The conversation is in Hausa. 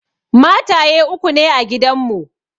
Mataye uku ne a gidan mu.